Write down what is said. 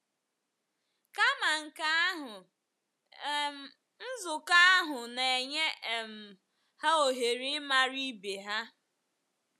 Kama nke ahụ, um nzukọ ahụ na - enye um ha ohere ịmara ibe ha.